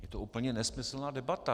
Je to úplně nesmyslná debata.